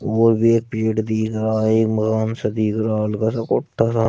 और वे पेड़ दिख रहा है महान सा दिख रहा हल्का सा कोट्टा सा--